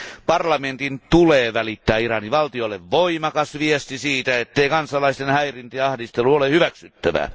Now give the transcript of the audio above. Parlamentin tulee välittää Iranin valtiolle voimakas viesti siitä, ettei kansalaisten häirintä ja ahdistelu ole hyväksyttävää.